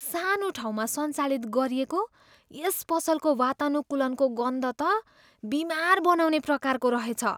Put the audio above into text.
सानो ठाउँमा सञ्चालित गरिएको यस पसलको वातानुकूलनको गन्ध त बिमार बनाउने प्रकारको रहेछ।